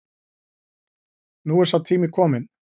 Nú er sá tími kominn